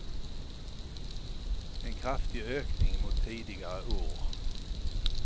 En kraftig ökning mot tidigare år.